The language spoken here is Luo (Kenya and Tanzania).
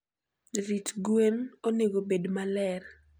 jrit gwen onegobed maler